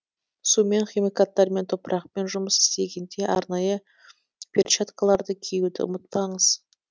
сумен химикаттармен топырақпен жұмыс істегенде арнайы перчаткаларды киюді ұмытпаңыз